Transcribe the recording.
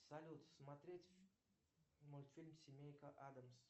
салют смотреть мультфильм семейка адамс